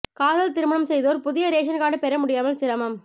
காதல் திருமணம் செய்தோர் புதிய ரேஷன் கார்டு பெற முடியாமல் சிரமம்